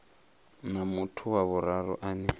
na muthu wa vhuraru ane